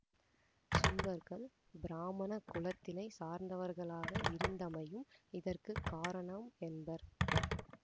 சுங்கர்கள் பிராமண குலத்தினை சார்ந்தவர்களாக இருந்தமையும் இதற்கு காரணம் என்பர்